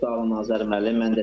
Çox sağ olun, Azər müəllim.